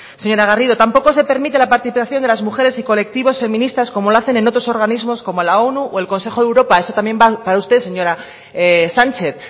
señora garrido tampoco se permite la participación de las mujeres y colectivos feministas como lo hacen en otros organismos como la onu o el consejo de europa eso también va para usted señora sánchez